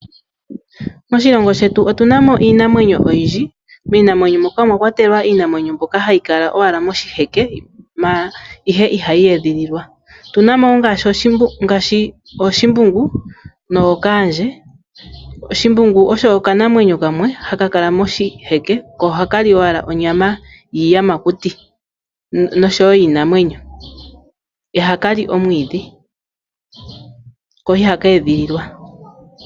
Moshilongo shetu otuna mo iinamwenyo oyindji, miinamwenyo moka omwakwatelwa iinamwenyo mbyoka hayi kala owala moshike ihe ihayi edhililwa. Otuna mo wo ngaashi oshimbungu nookaandje. Shimbungu osho okanamwenyo kamwe haka kala moshiheke ko ohaka li owala onyama yiiyamakuti nosho wo yiinamwenyo, ihaka li omwiidhi ko ihaka edhililwa.